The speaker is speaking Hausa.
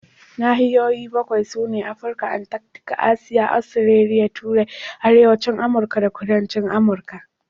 Nahiyoyi bakwai sune: Afirka, Antarctica, Asiya, Australia, Turai, Arewacin Amurka da Kudancin Amurka.